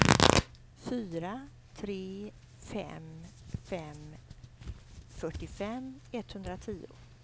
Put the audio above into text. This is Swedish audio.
fyra tre fem fem fyrtiofem etthundratio